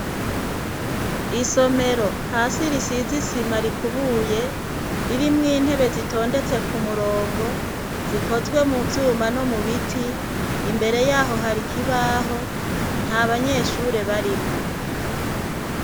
Isomero hasi risize isima rikubuye ririmwo intebe zitondetse ku murongo zikozwe mu vyuma no mu biti. Imbere yaho hari ikibaho nta banyeshure barimwo.